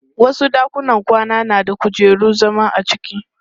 Wasu ɗakunan kwana na da kujerun zama a cikin.